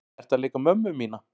Ertu að leika mömmu mína?